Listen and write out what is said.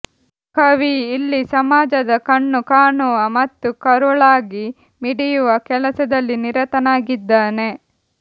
ಕವಿ ಇಲ್ಲಿ ಸಮಾಜದ ಕಣ್ಣು ಕಾಣುವ ಮತ್ತು ಕರುಳಾಗಿ ಮಿಡಿಯುವ ಕೆಲಸದಲ್ಲಿ ನಿರತನಾಗಿದ್ದಾನೆ